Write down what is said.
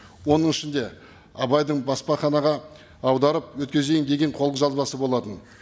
оның ішінде абайдың баспаханаға аударып өткізейін деген қолжазбасы болатын